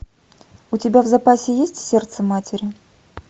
у тебя в запасе есть сердце матери